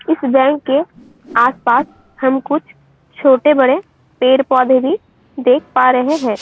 इस बैंक के आसपास हम कुछ छोटे बड़े पेड-पोधे भी देख पा रहे है।